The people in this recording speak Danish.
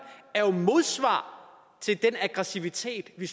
er jo et modsvar til den aggressivitet vi